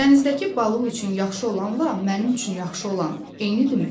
Dənizdəki balıq üçün yaxşı olanla mənim üçün yaxşı olan eynidirmi?